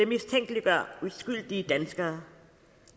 mistænkeliggør uskyldige danskere